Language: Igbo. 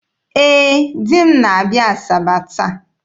Ee, di m na-abịa Asaba taa